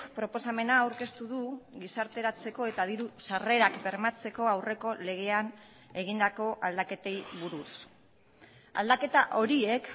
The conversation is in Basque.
proposamena aurkeztu du gizarteratzeko eta diru sarrerak bermatzeko aurreko legean egindako aldaketei buruz aldaketa horiek